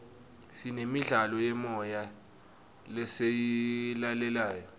sinemidlalo yemoya lesiyilalelayo